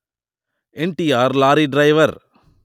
NTR lorry driver